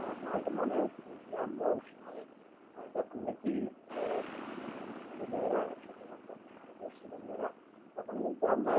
আহ আপনার হয়তো মনে আছে যে আমারওই সময় আহ যখন নাকি এ ছেলে মেয়েরা একসাথে হতাম সব চেলীয়া তখন কিন্তু আমরা